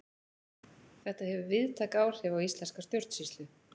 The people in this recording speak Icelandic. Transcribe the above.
Þetta hefur víðtæk áhrif á íslenska stjórnsýslu.